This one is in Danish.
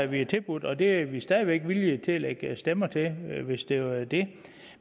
vi tilbudt og det er vi stadig væk villige til at lægge stemmer til hvis det er det